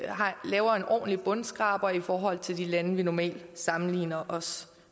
laver en ordentlig bundskraber i forhold til de lande vi normalt sammenligner os